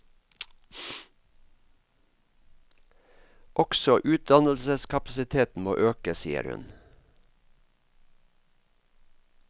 Også utdannelseskapasiteten må øke, sier hun.